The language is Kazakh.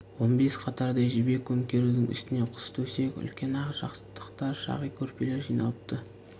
он бес қатардай жібек көмкерудің үстіне құс төсек үлкен ақ жастықтар шағи көрпелер жиналыпты